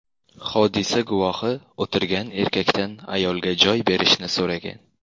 Hodisa guvohi o‘tirgan erkakdan ayolga joy berishni so‘ragan.